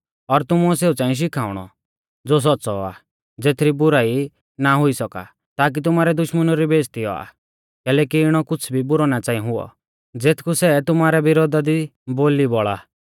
और तुमुऐ सेऊ च़ांई शिखाउणौ ज़ो सौच़्च़ौ आ ज़ेथरी बुराई ना हुई सौका ताकी तुमारै दुश्मनु री बेइज़्ज़ती औआ कैलैकि इणौ कुछ़ भी बुरौ ना च़ांई हुऔ ज़ेथकु सै तुमारै विरोधा दी बोली बौल़ा